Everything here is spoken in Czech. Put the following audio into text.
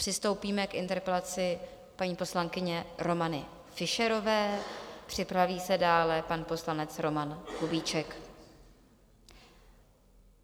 Přistoupíme k interpelaci paní poslankyně Romany Fischerové, připraví se dále pan poslanec Roman Kubíček.